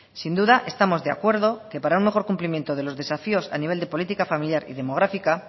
sin duda estamos de acuerdo que para un mejor cumplimiento de los desafíos a nivel de política familiar y demográfica